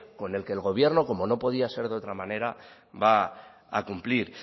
con el que el gobierno como no podía ser de otra manera va a cumplir